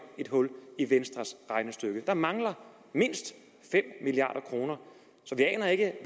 et hul i venstres regnestykke der mangler mindst fem milliard kroner så vi aner ikke